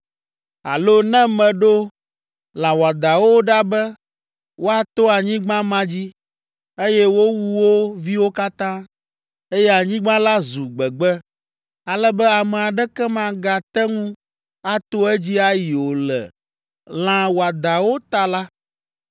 “Alo ne meɖo lã wɔadãwo ɖa be woato anyigba ma dzi, eye wowu wo viwo katã, eye anyigba la zu gbegbe, ale be ame aɖeke magate ŋu ato edzi ayi o le lã wɔadãawo ta la,